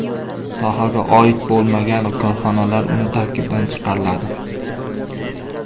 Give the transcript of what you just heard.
Sohaga oid bo‘lmagan korxonalar uning tarkibidan chiqariladi.